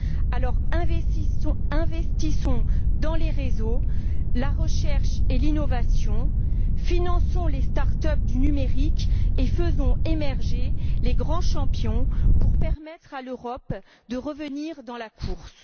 Alors, investissons dans les réseaux, la recherche et l'innovation, finançons les start up du numérique et faisons émerger les grands champions pour permettre à l'Europe de revenir dans la course!